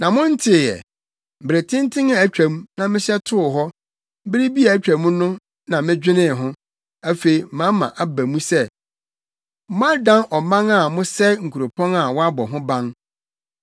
“Na Montee ɛ? Bere tenten a atwam, na mehyɛ too hɔ. Bere bi a atwam no na medwenee ho; afei mama aba mu sɛ, moadan ɔman a mosɛe nkuropɔn a wɔabɔ ho ban.